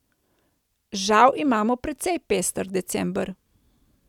Žal imamo precej pester december.